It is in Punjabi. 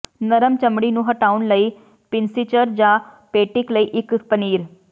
ਨਰਮ ਚਮੜੀ ਨੂੰ ਹਟਾਉਣ ਲਈ ਪਿੰਸੀਚਰ ਜਾਂ ਪੇਟਿਕ ਲਈ ਇੱਕ ਪਨੀਰ